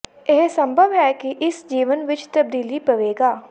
ਇਹ ਸੰਭਵ ਹੈ ਕਿ ਇਸ ਜੀਵਨ ਵਿੱਚ ਤਬਦੀਲੀ ਪਵੇਗਾ